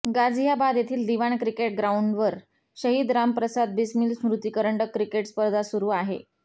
गाझीयाबाद येथील दिवान क्रिकेट ग्राऊंडवर शहीद राम प्रसाद बिस्मील स्मृती करंडक क्रिकेट स्पर्धा सुरू आहे